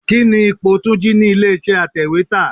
Kíni ipò Túnjí ni ilé iṣẹ́ atèwétà?